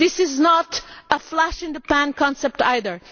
This is not a flash in the pan concept either